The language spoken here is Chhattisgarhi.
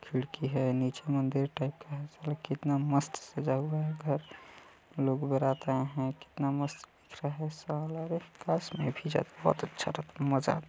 खिड़की हैं नीचे मंदिर टाइप का हैंसाला कितना मस्त सजा हुआ हैं घर लोग बारात आए हैं कितना मस्त लग रहा हैं साला रे बस मे भी जाते वक्त अच्छा --]